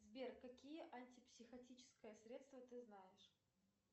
сбер какие антипсихотическое средство ты знаешь